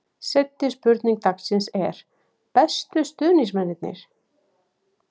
Seinni spurning dagsins er: Bestu stuðningsmennirnir?